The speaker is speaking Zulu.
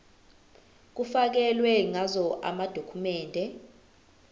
kufakelwe ngazo amadokhumende